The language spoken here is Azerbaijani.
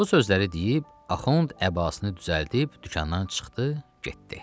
Bu sözləri deyib, Axund əbasını düzəldib dükandan çıxdı, getdi.